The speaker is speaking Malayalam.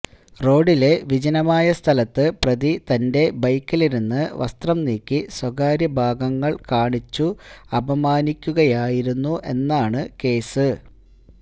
റോഡിലെ വിജനമായ സ്ഥലത്ത് പ്രതി തൻ്റെ ബൈക്കിലിരുന്ന് വസ്ത്രം നീക്കി സ്വകാര്യ ഭാഗങ്ങൾ കാണിച്ചു അപമാനിക്കുകയായിരുന്നു എന്നാണ് കേസ്